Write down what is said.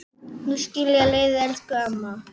Nú skilja leiðir, elsku amma.